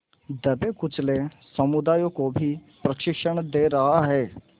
दबेकुचले समुदायों को भी प्रशिक्षण दे रहा है